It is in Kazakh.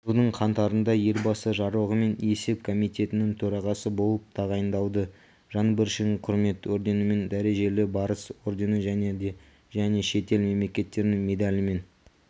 жылдың қаңтарында елбасы жарлығымен есеп комитетінің төрағасы болып тағайындалды жаңбыршин құрмет орденімен дәрежелі барыс ордені және де және шетел мемлекеттерінің медалімен